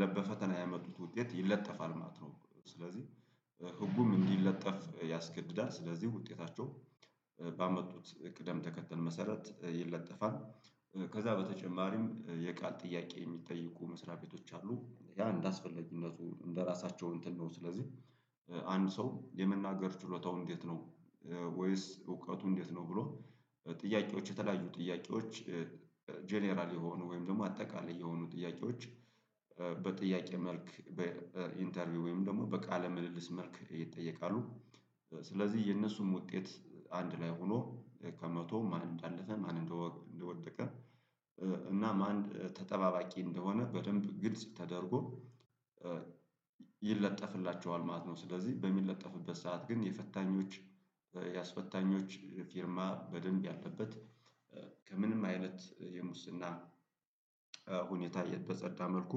ለበፈተና ያመጡት ውጤት ይለጠፋል ማለት ነው። ስለዚህ ህጉም እንዲለጠፍ ያስገድዳል ስለዚህ ውጤታቸው ባመጡት ቅደም ተከተል መሰረት ይለጠፋል። ከዛ በተጨማሪም የቃል ጥያቄ የሚጠይቁ መስሪያ ቤቶች አሉ ያ እንደሚያስፈልግነቱ እንደራሳቸው እንትን ነው። ስለዚህ አንድ ሰው የመናገር ችሎታው እንዴት ነው? ወይስ እውቀቱ እንዴት ነው ብሎ ጥያቄዎች የተለያዩ ጥያቄዎች ጀነራል የሆኑ ወይም ደግሞ አጠቃላይ የሆኑ ጥያቄዎች። በጥያቄ መልክ በኢንተርቪው ወይም ደግሞ በቃለ ምልልስ መልክ ይጠየቃሉ። ስለዚህ የነሱም ውጤት አንድ ላይ ሆኖ ከመቶም ማን እንዳለፈ ማን እንደወደቀ እና ማን ተጠባባቂ እንደሆነ በደንብ ግልጽ ተደርጎ። ይለጠፍላቸዋል ማለት ነው። ስለዚህ በሚለጠፍበት ሰዓት ግን የፈታኞች ያስፈታኞች ፊርማ በደንብ ያለበት ከምንም አይነት የሙስና ሁኔታ የጸዳ መልኩ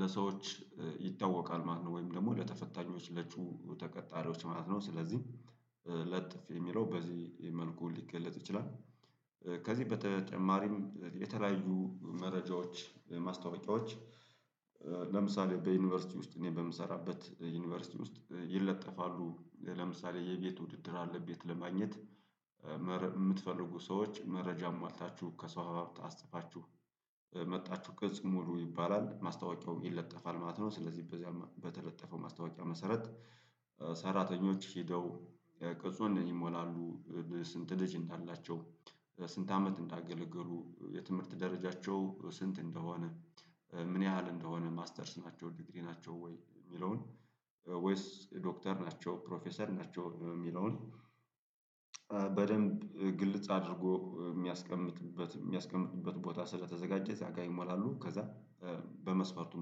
ለሰዎች ይታወቃል ማለት ነው። ወይም ደግሞ ለተፈታኞቹ ተቀጣሪዎች ማለት ነው። ስለዚህ ለጥፍ የሚለው በዚህ መልኩ ሊገለጽ ይችላል። ከዚህ በተጨማሪም የተለያዩ መረጃዎች ማስታወቂያዎች። ለምሳሌ በዩኒቨርሲቲ ውስጥ እኔ በምሰራበት ዩኒቨርሲቲ ውስጥ ይለጠፋሉ ለምሳሌ የቤት ውድድር አለ ቤት ለማግኘት የምትፈልጉ ሰዎች መረጃ አሟልታችሁ ከሰው አባብት አስጥፋችሁ መጥታችሁ ቅጽ ሙሉ ይባላል ማስታወቂያውም ይለጠፋል ማለት ነው። ስለዚህ በተለጠፈው ማስታወቂያ መሰረት ሰራተኞች ሄደው ቅጽን ይሞላሉ። ስንት ልጅ አላቸው ስንት አመት እንዳገለገሉ የትምህርት ደረጃቸው ስንት እንደሆነ። ምን ያህል እንደሆነ ማስተርስ ናቸው ዲግሪ ናቸው ወይ የሚለውን ወይስ ዶክተር ናቸው ፕሮፌሰር ናቸው የሚለውን። በደንብ ግልጽ አድርጎ የሚያስቀምጥበት የሚያስቀምጥበት ቦታ ስለተዘጋጀ እዚያ ጋር ይሞላሉ ከዛ በመስፈርቱ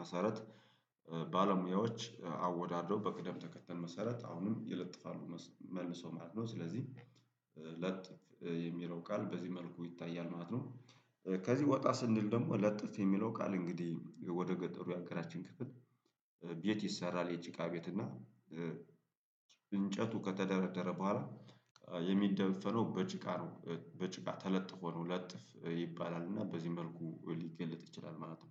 መሰረት ባለሙያዎች አወዳድረው በቅደም ተከተል መሰረት አሁንም ይለጥፋሉ መልሶ ማለት ነው። ስለዚህ የሚለው ቃል በዚህ መልኩ ይታያል ማለት ነው። ከዚህ ወጣ ስንል ደግሞ ለጥፍ የሚለው ቃል እንግዲህ ወደ ገጠሩ ያገራችን ክፍል ቤት ይሰራል። የጭቃ ቤት እና እንጨቱ ከተደረደረ በኋላ የሚደለደለው በጭቃ ነው። በጭቃ ተለጥፎ ነው ለጥፍ ይባላሉ እና በዚህ መልኩ ሊገለጥ ይችላል ማለት ነው።